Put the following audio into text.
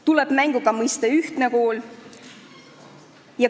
Tuleb mängu ka mõiste "ühtne kool".